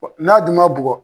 Bɔ n'a dun ma bugɔ